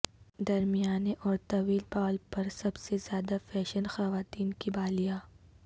درمیانے اور طویل بال پر سب سے زیادہ فیشن خواتین کی بالیاں